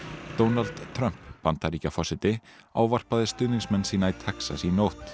Donald Trump Bandaríkjaforseti ávarpaði stuðningsmenn sína í Texas í nótt